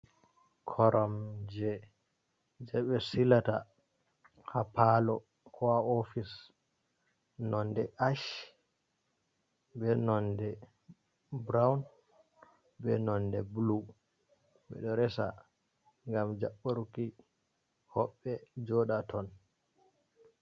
Koram je, je be silata ha palo ko ha ofis . Nonɗe ash. be nonɗe buraun. Be nonɗe bulu. Be ɗo resa ngam jabburki hobbe joɗa ton.